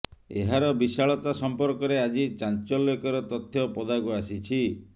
ଏହାର ବିଶାଳତା ସଂପର୍କରେ ଆଜି ଚାଞ୍ଚଲ୍ୟକର ତଥ୍ୟ ପଦାକୁ ଆସିଛି